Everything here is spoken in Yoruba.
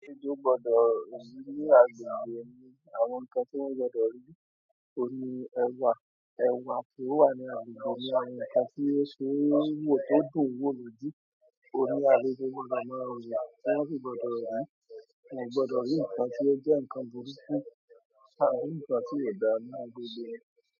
Aṣojú gbọ́dọ̀ rí ní agbègbè ni àwọn nǹkan tí wọ́n gbọdọ̀ rí, orí ẹwà, ẹwà tí ó wà ní agbègbè ní àwọn nǹkan tí ó ṣe wò tó dùn wò lójú. Orí adé gbọ́dọ̀ máa rí, tí wọ́n kò gbọdọ̀ rí, wọ́n gbọdọ̀ rí nǹkan tí ó jẹ́ nǹkan burúkú, àa ri nǹkan tí ò dáa ní agbègbè rẹ̀.